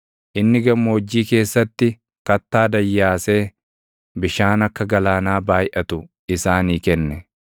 Inni gammoojjii keessatti kattaa dayyaasee bishaan akka galaanaa baayʼatu isaanii kenne.